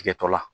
Tigɛtɔ la